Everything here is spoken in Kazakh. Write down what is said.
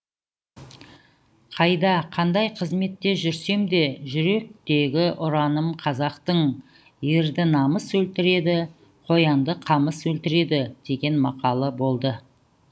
қайда қандай қызметте жүрсем де жүректегі ұраным қазақтың ерді намыс өлтіреді қоянды қамыс өлтіреді деген мақалы болды